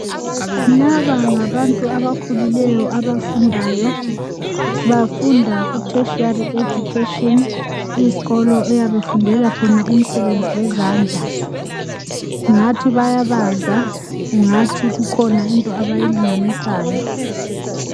Laba ngabantu abakhulileyo abafundayo bafunda ku Tertiary education. Isikolo eyabe esifundela khona umsebenzi wezandla kungathi bayabaza kungathi ikhona into abayilinganisayo.